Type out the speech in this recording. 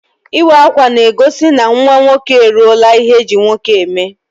Ịwa akwa n'egosi na nwa nwoke e ruola ihe eji nwoke eme